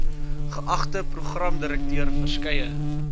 geagte programdirekteur verskeie